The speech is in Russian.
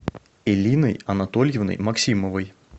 элиной анатольевной максимовой